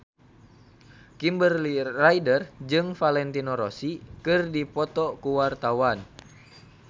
Kimberly Ryder jeung Valentino Rossi keur dipoto ku wartawan